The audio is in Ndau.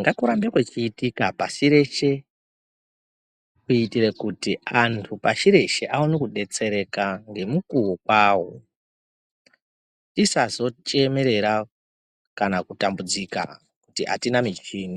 ngakurambe kwechiitika pashi reshe kuitire kuti antu pashi reshe aone kudetsereka ngemukuwo kwawo tisazochemerera kana kutambudzika kuti atina michini.